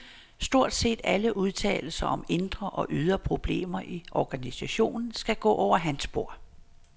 Stort set alle udtalelser om indre og ydre problemer i organisationen skal gå over hans bord.